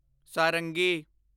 ਸਾਰੰਗੀ